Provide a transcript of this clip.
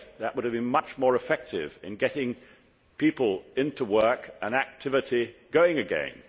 That would have been much more effective in getting people into work, and activity going again.